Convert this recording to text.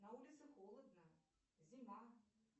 на улице холодно зима